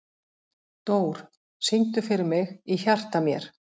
Dór, syngdu fyrir mig „Í hjarta mér“.